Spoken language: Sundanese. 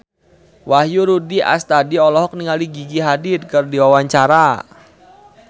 Wahyu Rudi Astadi olohok ningali Gigi Hadid keur diwawancara